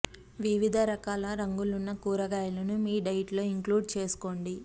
వివిధ రకాల రంగులున్న కూరగాయలను మీ డైట్ లో ఇంక్లూడ్ చేసుకోండి